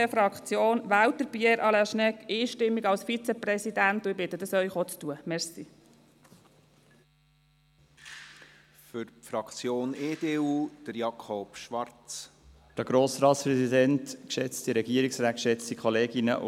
Die SVP-Fraktion wählt Pierre Alain Schnegg einstimmig zum Vizepräsidenten, und ich bitte Sie, dies auch zu tun.